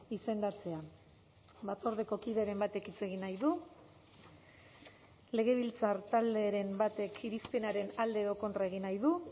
izendatzea batzordeko kideren batek hitz egin nahi du legebiltzar talderen batek irizpenaren alde edo kontra egin nahi du